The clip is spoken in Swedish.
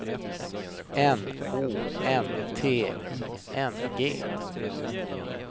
N Å N T I N G